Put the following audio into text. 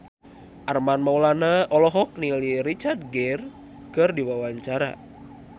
Armand Maulana olohok ningali Richard Gere keur diwawancara